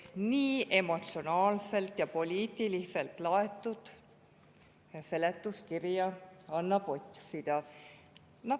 Nii emotsionaalselt ja poliitiliselt laetud seletuskirja annab otsida.